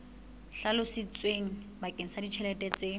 hlalositsweng bakeng sa ditjhelete tse